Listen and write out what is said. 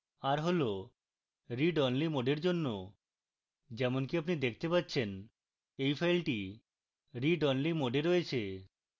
r হল read only mode এর জন্য